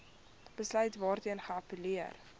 besluit waarteen geappelleer